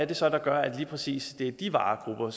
det så er der gør at det lige præcis er de varegrupper